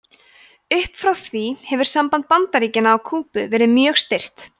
upp frá því hefur samband bandaríkjanna og kúbu verið mjög stirt